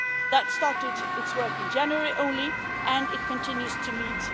That started its work in January only, and it continues to meet.